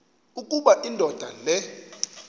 ukuba indoda le